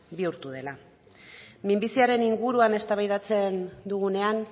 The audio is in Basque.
bihurtu dela minbiziaren inguruan eztabaidatzen dugunean